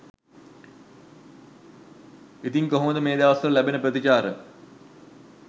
ඉතිං කොහොමද මේ දවස්වල ලැබෙන ප්‍රතිචාර